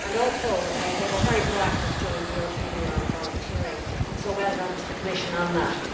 Also, it was very proactive during the European Year of Volunteering, so well done to the Commission on that.